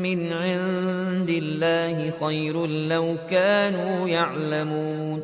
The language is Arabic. مِّنْ عِندِ اللَّهِ خَيْرٌ ۖ لَّوْ كَانُوا يَعْلَمُونَ